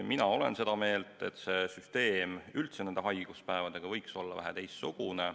Mina olen seda meelt, et haiguspäevade süsteem võiks üldse olla väheke teistsugune.